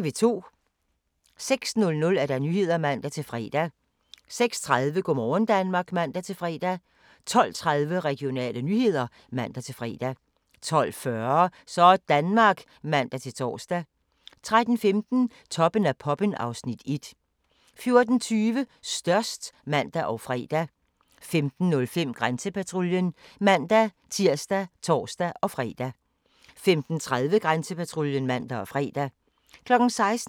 06:00: Nyhederne (man-fre) 06:30: Go' morgen Danmark (man-fre) 12:30: Regionale nyheder (man-fre) 12:40: Sådanmark (man-tor) 13:15: Toppen af poppen (Afs. 1) 14:20: Størst (man og fre) 15:05: Grænsepatruljen (man-tir og tor-fre) 15:30: Grænsepatruljen (man og fre) 16:00: